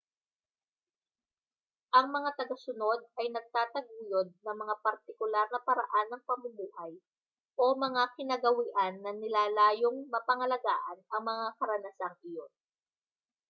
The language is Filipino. ang mga tagasunod ay nagtataguyod ng mga partikular na paraan ng pamumuhay o mga kinagawian na nilalayong mapangalagaan ang mga karanasang iyon